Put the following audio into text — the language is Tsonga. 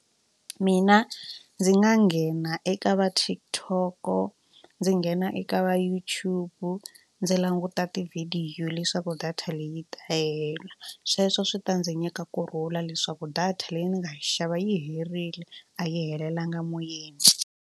Mina ndzi nga nghena eka va TikTok ndzi nghena eka va YouTube ndzi languta tivhidiyo leswaku data leyi ta hela sweswo swi ta ndzi nyika kurhula leswaku data leyi ni nga yi xava yi herile a yi helelanga moyeni.